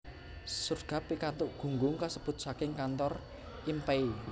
Shugarts pikantuk gunggung kasebut saking kantor I M Pei